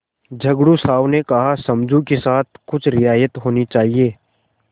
झगड़ू साहु ने कहासमझू के साथ कुछ रियायत होनी चाहिए